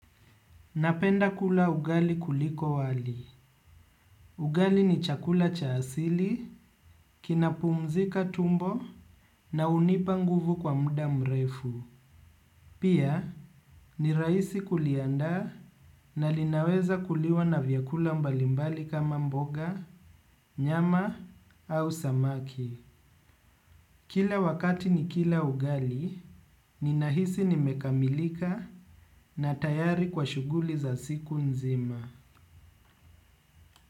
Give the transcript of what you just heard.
Napenda kula ugali kuliko wali. Ugali ni chakula cha asili, kina pumzika tumbo na hunipa nguvu kwa muda mrefu. Pia ni rahisi kuliandaa na linaweza kuliwa na vyakula mbalimbali kama mboga, nyama au samaki. Kila wakati ni kila ugali, nina hisi nimekamilika na tayari kwa shughuli za siku nzima.